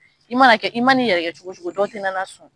I mana kɛ i ma n'i yɛrɛ kɛ cogo o cogo dɔw tɛna na sɔn